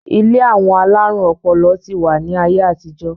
Ilé àwọn alárùn ọpọlọ ti wà ní ayé àtijọ́